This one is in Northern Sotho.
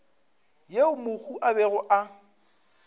yeo mohu a bego a